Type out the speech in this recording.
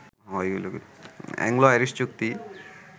Anglo-Irish চুক্তি